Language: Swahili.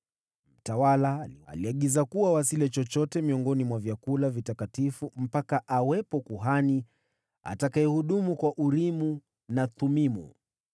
Mtawala aliagiza kuwa wasile chochote miongoni mwa vyakula vitakatifu hadi kuwe kuhani atakayehudumu kwa Urimu na Thumimu.